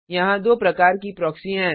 यहाँ दो प्रकार की प्रॉक्सी हैं